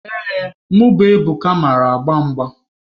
Ee, mụ bụ Ebuka mara agba mgba.